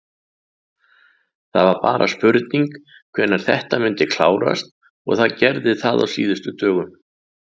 Það var bara spurning hvenær þetta myndi klárast og það gerði það á síðustu dögum.